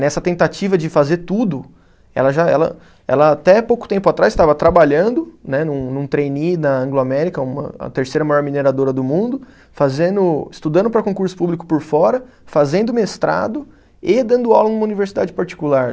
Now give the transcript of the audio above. Nessa tentativa de fazer tudo, ela já, ela ela até pouco tempo atrás estava trabalhando né, num num trainee na Anglo-América, uma a terceira maior mineradora do mundo, fazendo estudando para concurso público por fora, fazendo mestrado e dando aula em uma universidade particular.